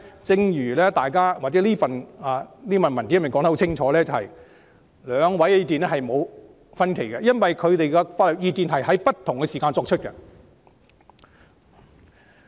正如這份新聞稿清楚指出，兩份意見是沒有分歧的，因為兩份法律意見是在不同時間作出的。